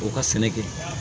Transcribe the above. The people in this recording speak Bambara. U ka sɛnɛ kɛ